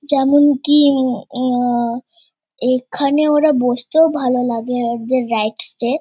যেমনকি উ-ম উ-ম এখানে ওরা বসতেও ভালো লাগে। What there right stay --